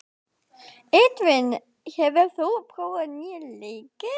Edvin, hefur þú prófað nýja leikinn?